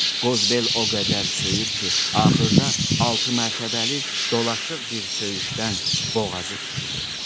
Qozbel o qədər söyür ki, axırda altı mərtəbəli dolaşıq bir söyüşdən boğazı tutulur.